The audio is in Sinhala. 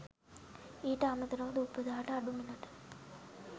ඊට අමතරව දුප්පතාට අඩු මිලට